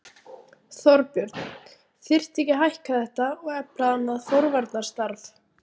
Þorbjörn: Þyrfti ekki að hækka þetta og efla annað forvarnarstarf?